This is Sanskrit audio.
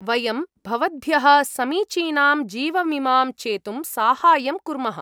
वयं भवद्भ्यः समीचीनां जीवविमां चेतुं साहाय्यं कुर्मः।